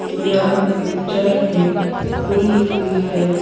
यह पिक्चर एक फुल की है।